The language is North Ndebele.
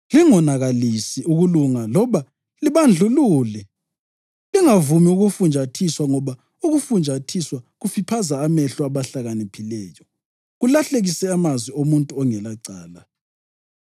Lingonakalisi ukulunga loba libandlulule. Lingavumi ukufunjathiswa ngoba ukufunjathiswa kufiphaza amehlo abahlakaniphileyo kulahlekise amazwi omuntu ongelacala.